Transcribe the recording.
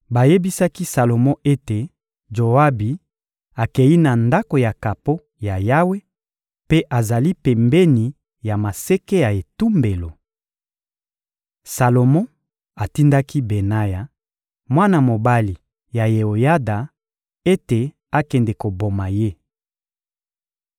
Bayebisaki Salomo ete Joabi akei na Ndako ya kapo ya Yawe mpe azali pembeni ya maseke ya etumbelo. Salomo atindaki Benaya, mwana mobali ya Yeoyada, ete akende koboma ye.